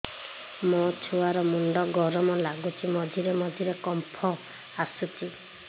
ମୋ ଛୁଆ ର ମୁଣ୍ଡ ଗରମ ଲାଗୁଚି ମଝିରେ ମଝିରେ କମ୍ପ ଆସୁଛି